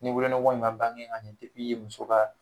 Ni wolonugu in ma bange ka ɲɛ muso ka